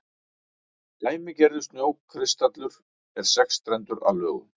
dæmigerður snjókristallur er sexstrendur að lögun